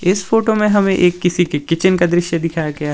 इस फोटो में हमें एक किसी के किचन का दृश्य दिखाया गया है।